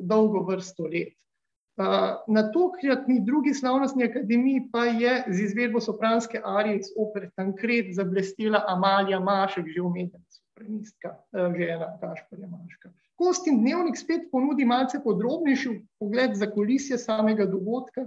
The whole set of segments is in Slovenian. dolgo vrsto let. na tokratni drugi slavnostni akademiji pa je z izvedbo sopranske arije iz opere Tancredi zablestela Amalija Mašek, že omenjena sopranistka, žena Gašperja Maška. Kostin dnevnik spet ponudi malce podrobnejši vpogled v zakulisje samega dogodka,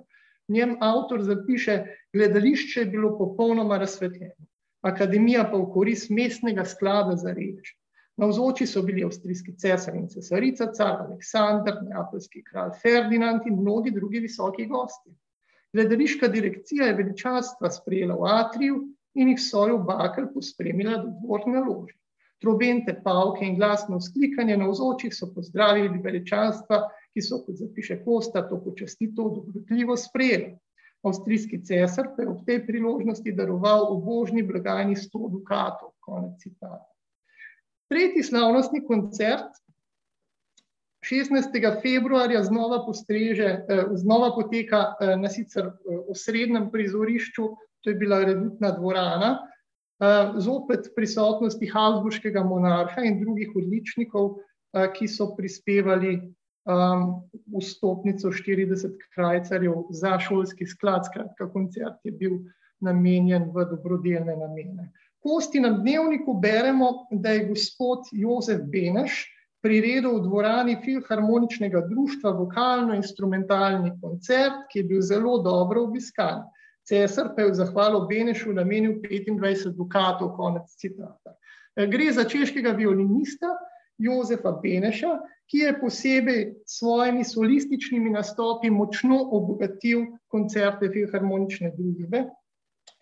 njen avtor zapiše: "Gledališče je bilo popolnoma razsvetljeno, akademija pa v korist mestnega sklada za reveže. Navzoči so bili avstrijski cesar in cesarica, car Aleksander, neapeljski kralj Ferdinand in mnogi drugi visoki gostje. Gledališka direkcija je veličastva sprejela v atriju in jih v svojo bakel pospremila do gornje lože. Trobente, pavke in glasno vzklikanje navzočih so pozdravili veličastva, ki so," kot zapiše Kosta, "to počastitev dobrotljivo sprejeli. Avstrijski cesar pa je ob tej priložnosti daroval ubožni blagajni sto dukatov." Konec citata. Tretji slavnostni koncert šestnajstega februarja znova postreže, znova poteka, na sicer osrednjem prizorišču, to je bila redutna dvorana, zopet v prisotnosti habsburškega monarha in drugih odličnikov, ki so prispevali, vstopnico štirideset krajcarjev za šolski sklad, skratka, koncert je bil namenjen v dobrodelne namene. V Kostinem dnevniku beremo, da je "gospod Jozef Beneš priredil v dvorani Filharmoničnega društva vokalno-instrumentalni koncert, ki je bil zelo dobro obiskan. Cesar pa je v zahvalo Benešu namenil petindvajset dukatov." Konec citata. gre za češkega violinista, Jožefa Beneša, ki je posebej s svojimi solističnimi nastopi močno obogatil koncerte Filharmonične družbe,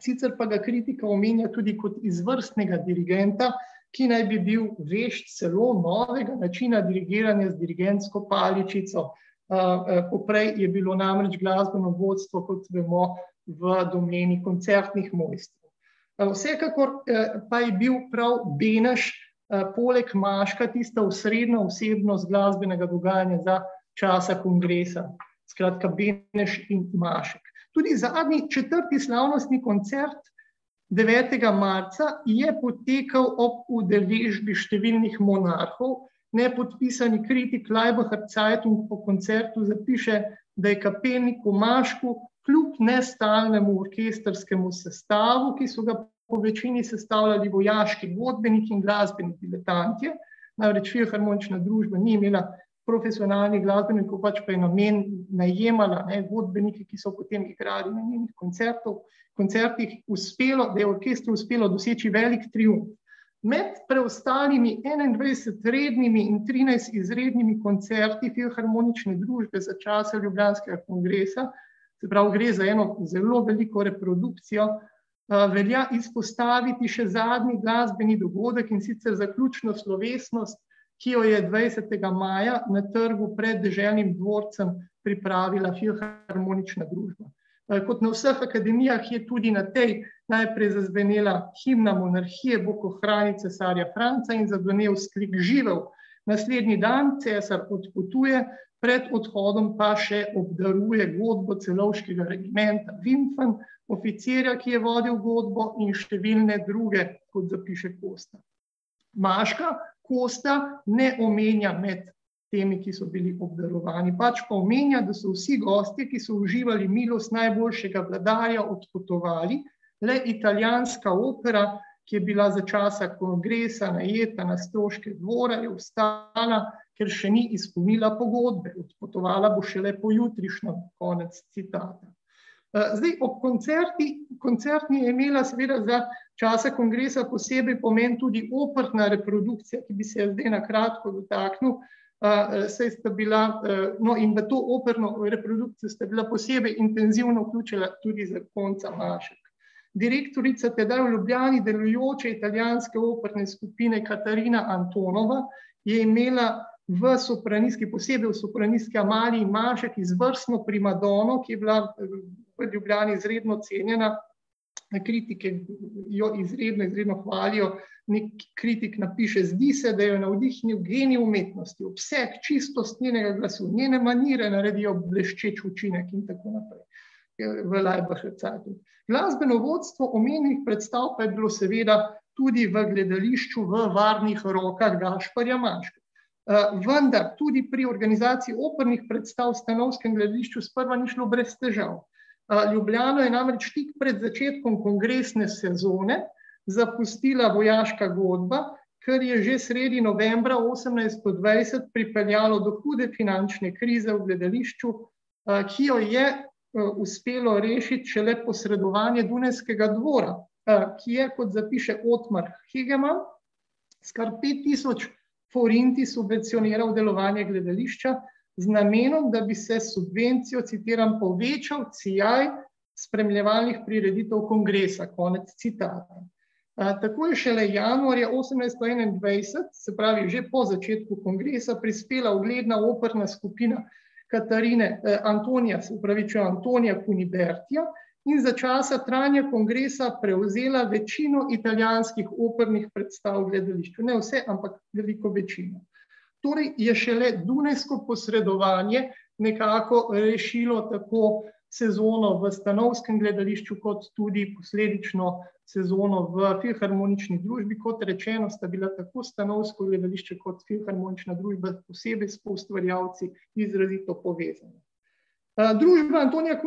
sicer pa ga kritika omenja tudi kot izvrstnega dirigenta, ki naj bi bil vešč celo novega načina dirigiranja z dirigentsko paličico. poprej je bilo namreč glasbeno vodstvo, kot vemo, v domeni koncertnih mest. vsekakor, pa je bil prav Beneš, poleg Maška tista osrednja osebnost glasbenega dogajanja za časa kongresa. Skratka, Beneš in Mašek. Tudi zadnji, četrti slavnostni koncert devetega marca je potekal ob udeležbi številni monarhov. Nepodpisani kritik v Laibacher Zeitung po koncertu zapiše, da je kapelniku Mašku kljub nestalnemu orkestrskemu sestavu, ki so ga po večini sestavljali vojaški godbeniki in glasbeni debitantje, namreč Filharmonična družba ni imela profesionalnih glasbenikov, pač ma je najemala, ne, godbenike, ki so potem igrali na njenem koncertu, koncertih, uspelo, da je orkestru uspelo doseči veliko triumf. Med preostalimi enaindvajset rednimi in trinajst izrednimi koncerti Filharmonične družbe za časa ljubljanskega kongresa, se pravi, gre za eno zelo veliko reprodukcijo, velja izpostaviti še zadnji glasbeni dogodek, in sicer zaključno slovesnost, ki jo je dvajsetega maja na trgu pred deželnim dvorcem pripravila Filharmonična družba. kot na vseh akademijah je tudi na tej najprej zazvenela himna monarhije, Bog ohrani cesarja Franca, in zazvenel vzklik "Živel". Naslednji dan cesar odpotuje, pred odhodom pa še obdaruje godbo celovškega regimenta , oficirja, ki je vodil godbo, in številne druge, kot zapiše Kosta. Maška Kosta ne omenja med temi, ki so bili obdarovani, pač pa omenja, da so "vsi gostje, ki so uživali milost najboljšega vladarja, odpotovali, le italijanska opera, ki je bila za časa kongresa najeta na stroške dvora, je ostala, ker še ni izpolnila pogodbe, odpotovala bo šele pojutrišnjem." Konec citata. zdaj, ob koncertih, koncertni je imela seveda za časa kongresa poseben pomen tudi operna reprodukcija, ki bi se je zdaj na kratko dotaknil, saj sta bila ... no, in v to operno reprodukcijo sta bila posebej intenzivno vključena tudi zakonca Mašek. Direktorica tedaj v Ljubljani delujoče italijanske operne skupine, Katarina , je imela v sopranistki, posebej v sopranistki Amaliji Mašek izvrstno primadono, ki je bila v Ljubljani izredno cenjena. Kritike jo izredno, izredno hvalijo, neki kritik napiše: "Zdi se, da jo je navdihnil genij umetnosti. Vse, čistost njenega glasu, njene manire naredijo bleščeč učinek in tako naprej." v Laibacher Zeitungu. Glasbeno vodstvo pomembnih predstav pa je bilo seveda tudi v gledališču v varnih rokah Gašperja Mačka. vendar tudi pri organizaciji opernih predstav v stanovskem gledališču sprva ni šlo brez težav. Ljubljano je namreč tik pred začetkom kongresne sezone zapustila vojaška godba, kar je že sredi novembra osemnajststo dvajset pripeljalo do hude finančne krize v gledališču, ki jo je, uspelo rešiti šele posredovanje dunajskega dvora, ki je, kot zapiše Otmar Hegeman, s kar pet tisoč forinti subvencioniral delovanje gledališča z namenom, da bi se s subvencijo, citiram, "povečal sijaj spremljevalnih prireditev kongresa". Konec citata. takoj, šele januarja osemnajststo enaindvajset, se pravi že po začetku kongresa, prispela ugledna operna skupina Katarine, Antonije, se opravičujem, Antonije in za časa trajanja kongresa prevzela večino opernih predstav v gledališču, ne vse, ampak veliko večino. Torej je šele dunajsko posredovanje nekako rešilo tako sezono v stanovskem gledališču kot tudi posledično sezono v Filharmonični družbi, kot rečeno, sta bila tako Stanovsko gledališče kot Filharmonična družba posebej s poustvarjalci izrazito povezani. družba Antonija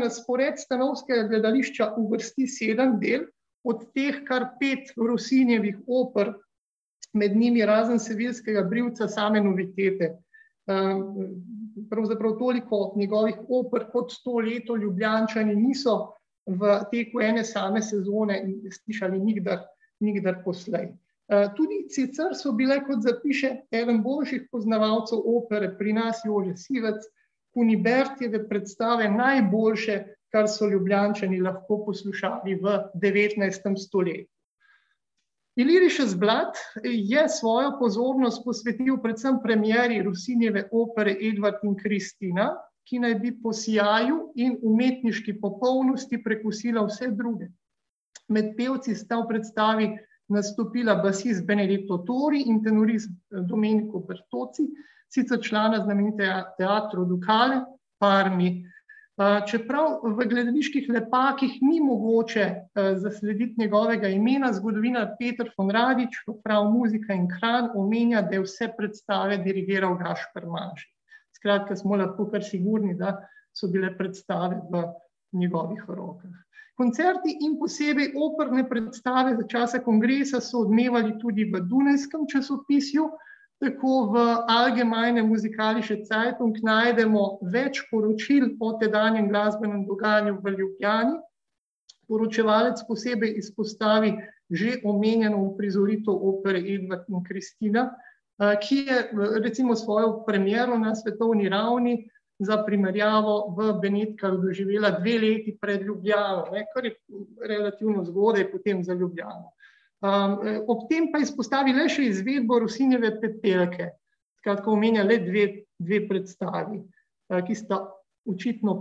na spored Stanovskega gledališča uvrsti sedem del, od teh kar pet Rossinjevih oper, med njimi razen Seviljskega brivca same novitete. pravzaprav toliko njegovih oper kot to leto Ljubljančani niso v teku ene same sezone slišali nikdar, nikdar poslej. tudi sicer so bile, kot zapiše eden boljših poznavalcev opere pri nas, Jože Sivec, Kunibertine predstave najboljše, kar so Ljubljančani lahko poslušali v devetnajstem stoletju. Illyrisches Blatt je svojo pozornost posvetil predvsem premieri Rossinijeve opere Edvard in Kristina, ki naj bi po sijaju in umetniški popolnosti prekosila vse druge. Med pevci sta v predstavi nastopila basist Tori in tenorist Dominik , sicer člana znamenitega teatra . čeprav v gledaliških letakih ni mogoče, zaslediti njegovega imena, zgodovinar Peter v prav muzike in omenja, da je vse predstave dirigiral Gašper Mašek. Skratka, smo lahko kar sigurni, da so bile predstave v njegovih rokah. Koncerti in posebej operne predstave za časa kongresa so odmevali tudi v dunajskem časopisju, tako v Allgemeine Musikalische Zeitung najdemo več poročil o tedanjem glasbenem dogajanju v Ljubljani. Poročevalec posebej izpostavi že omenjeno uprizoritev opere Edvard in Kristina, ki je recimo svojo premiero na svetovni ravni za primerjavo v Benetkah doživela dve leti pred Ljubljano, ne, kar je relativno zgodaj potem za Ljubljano. ob tem pa izpostavi le še izvedbo Rossinjeve Pepelke. Skratka, omenja le dve, dve predstavi, ki sta očitno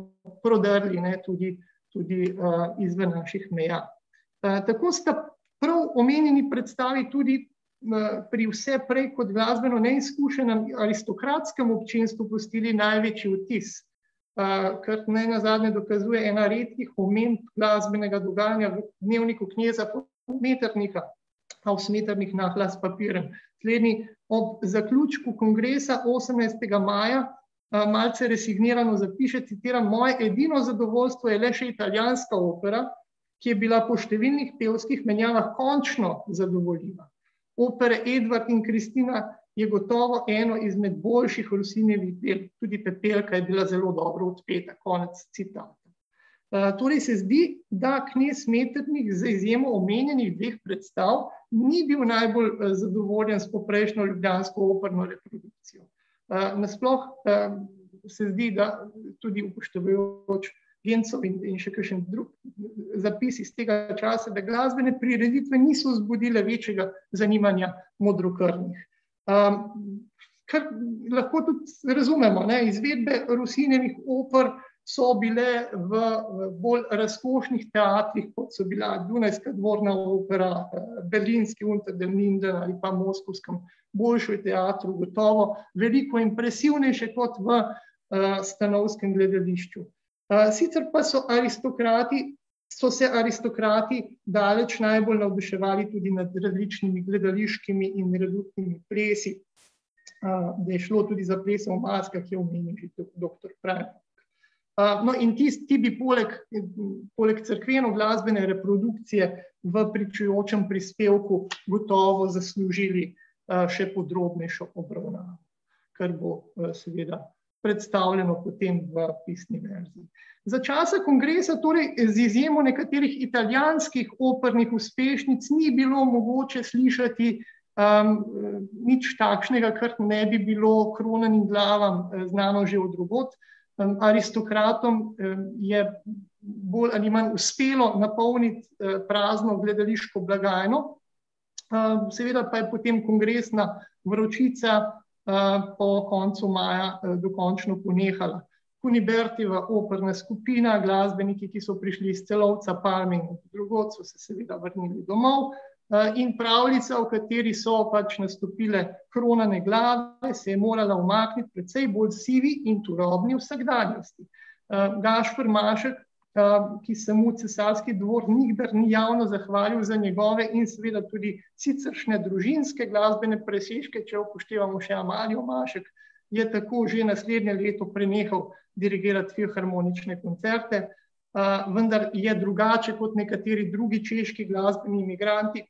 prodrli, ne, tudi, tudi, izven naših meja. tako sta prav omenjeni predstavi tudi, pri vse prej kot glasbeno neizkušenem aristokratskem občestvu pustili največji vtis, kar nenazadnje dokazuje ena redkih omemb glasbenega dogajanja v dnevniku kneza Metternicha, aus Metternich . Slednji ob zaključku kongresa osemnajstega maja, malce resignirano zapiše, citiram: "Moje edino zadovoljstvo je le še italijanska opera, ki je bila po številnih pevskih menjavah končno zadovoljiva." Opera Edvard in Kristina je gotovo eno izmed boljših Rossinijevih del, tudi Pepelka je bila zelo dobro odpeta." Konec citata. torej se zdi, da knez Metternich z izjemo dveh omenjenih predstav ni bil najbolj, zadovoljen s poprejšnjo ljubljansko operno. nasploh, se zdi, da tudi upoštevajoč Genzov in še kakšen drug zapis iz tega časa, da glasbene prireditve niso zbudile večjega zanimanja modrokrvnih. kar lahko tudi razumemo, ne, izvedbe Rossinijevih oper so bile v bolj razkošnih teatrih, kot so bila dunajska dvorna opera, berlinski ali pa v moskovskem Bolšoj teatru, gotovo veliko impresivnejše kot v, stanovskem gledališču. sicer pa so aristokrati, so se aristokrati daleč najbolj navduševali nad različnimi gledališkimi in plesi. da je šlo tudi za ples v maskah, ki ga je omenil že doktor Preinfalk. no, in ti bi poleg, poleg cerkvenoglasbene reprodukcije v pričujočem prispevku gotovo zaslužili, še podrobnejšo obravnavo, kar bo, seveda predstavljeno potem v pisni verziji. Za časa kongresa torej z izjemo nekaterih italijanskih opernih uspešnic ni bilo mogoče slišati, nič takšnega, kar ne bi bilo kronanim glavam, znano že od drugod, aristokratom, je bolj ali manj uspelo napolniti, prazno gledališko blagajno. seveda pa je potem kongresna vročica, po koncu maja dokončno ponehala. Unibertijeva operna skupina, glasbeniki, ki so prišli iz Celovca, in drugod, so se seveda vrnili domov, in pravljica, v kateri so pač nastopile kronane glave, se je morala umakniti precej bolj sivi in turobni vsakdanjosti. Gašper Mašek, ki se mu cesarski dvor nikdar ni javno zahvalil za njegove in seveda tudi siceršnje družinske glasbene presežke, če upoštevamo še Amalijo Mašek, je tako že naslednje leto prenehal dirigirati filharmonične koncerte, vendar je drugače kot nekateri drugi češki glasbeni migranti,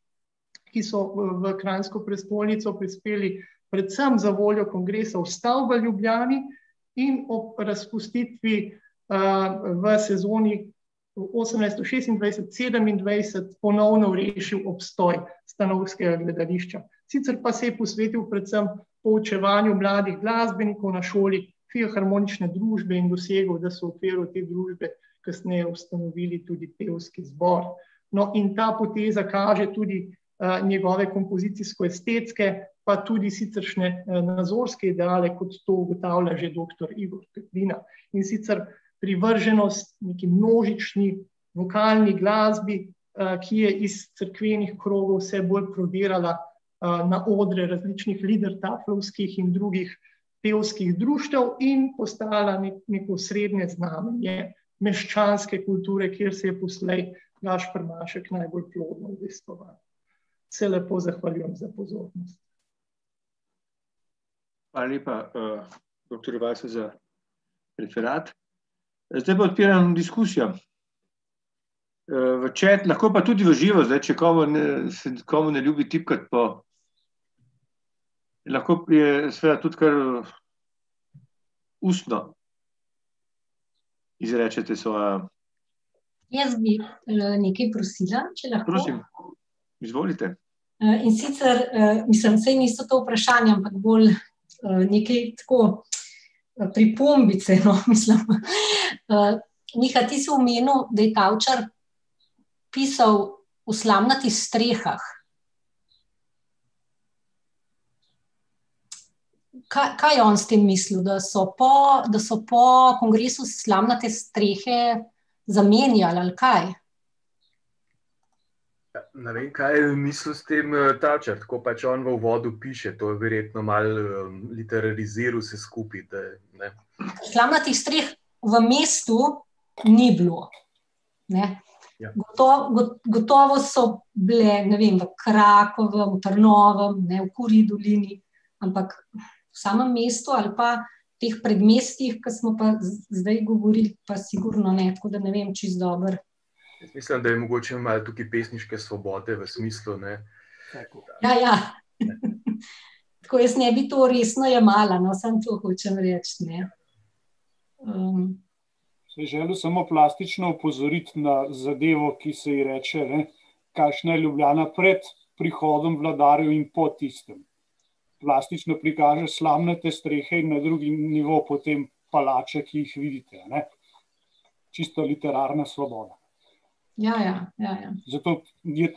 ki so, v kranjsko prestolnico prispeli predvsem zavoljo kongresa v stavbo Ljubljani, in ob razpustitvi, v sezoni v osemnajststo šestindvajset-sedemindvajset ponovno rešil obstoj Stanovskega gledališča. Sicer pa se je posvetil predvsem poučevanju mladih glasbenikov na šoli Filharmonične družbe in dosegel, da so v okviru te družbe kasneje ustanovili tudi pevski zbor. No, in ta poteza kaže tudi, njegove kompozicijsko-estetske, pa tudi siceršnje nazorske ideale, kot to ugotavlja že doktor Igor Grdina. In sicer privrženost neki množični vokalni glasbi, ki je iz cerkvenih krogov vse bolj prodirala, na odre različnih in drugih pevskih društev in postala neko osrednje znamenje meščanske kulture, kjer se je poslej Gašper Mašek najbolj plodno udejstvoval. Se lepo zahvaljujem za pozornost. Hvala lepa, doktorju Weissu za referat, zdaj pa odpiram diskusijo. v chat, lahko pa tudi v živo, zdaj, če koga ne, se komu ne ljubi tipkati po ... Lahko seveda tudi kar ustno izrečete svojo ... Jaz bi, nekaj prosila, če lahko. Prosim. Izvolite. in sicer, mislim, saj niso to vprašanja, ampak bolj, nekaj tako, pripombice, no, mislim , Miha, ti si omenil, da je Tavčar pisal o slamnatih strehah. kaj je on s tem mislil, da so po, da so po kongresu slamnate strehe zamenjali, ali kaj? ne vem, kaj je mislil s tem Tavčar, tako pač on v uvodu piše, to je verjetno malo literariziral vse skupaj, da, ne ... Slamnatih streh v mestu ni bilo, ne. Ja. gotovo so bile, ne vem, v Krakovem, v Trnovem, ne, v Kurji dolini, ampak v samem mestu ali pa teh predmestjih, ko smo pa zdaj govorili, pa sigurno ne, tako da ne vem čisto dobro. Mislim, da je mogoče malo tukaj pesniške svobode v smislu, ne ... Ja, ja. Tako, jaz ne bi to resno jemala, no, samo to hočem reči, ne. ... [anonimiziran govor] Ja, ja, ja, ja. [anonimiziran govor] Ja,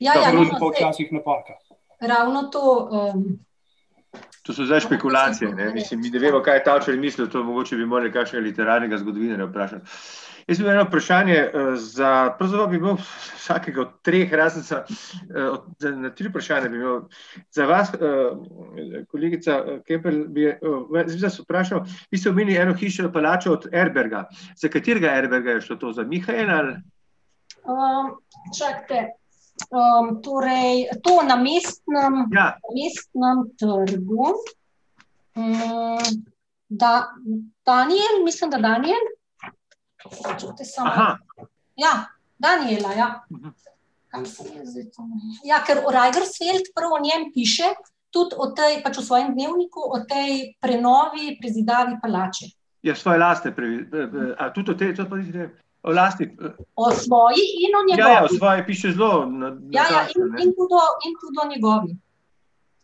ja. [anonimiziran govor] Ravno to, ... To so zdaj špekulacije, ne, mi ne vemo, kaj je Tavčar mislil, to mogoče bi morali kakšnega literarnega zgodovinarja vprašati. Jaz imam eno vprašanje, za ... Pravzaprav bi bilo vsakega od treh ... na tri vprašanja bi imel za vas, kolegica Kemperle je, jaz vprašal, vi ste omenili eno hišo, palačo od Erberga. Za katerega Erberga je šlo to, za Mihaela ali ... čakajte, torej to na Mestnem ... Ja. Mestnem trgu. Daniel, mislim, da Daniel. Čakajte, samo malo. Ja. Daniela, ja. Kam sem zdaj to . Ja, ker v Reidensfeld prav o njem piše, tudi o tej, pač v svojem dnevniku, o tej prenovi, prezidavi palače. Ja, svoje lastne ... A tudi o tej , lastni ... O svoji in o njegovi. Ja, ja, in tudi o, in tudi o njegovi.